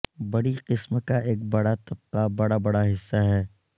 بڑی قسم کا ایک بڑا طبقہ بڑا بڑا حصہ ہے